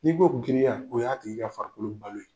N'i ko giriya, o y'a tigi ka farikolo balo ye.